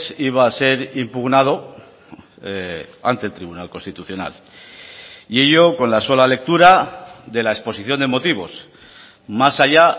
iba a ser impugnado ante el tribunal constitucional y ello con la sola lectura de la exposición de motivos más allá